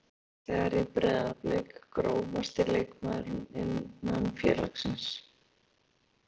Margar gullfallegar í Breiðablik Grófasti leikmaður innan félagsins?